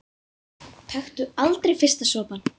Taktu aldrei fyrsta sopann!